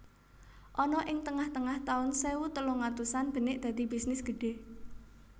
Ana ing tengah tengah taun sewu telung atusan benik dadi bisnis gedhe